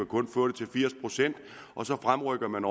kun få firs procent og så fremrykker man